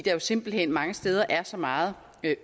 er jo simpelt hen mange steder så meget